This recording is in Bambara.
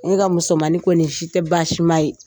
Ne ka musomanin ko nin si tɛ baasi ma ye.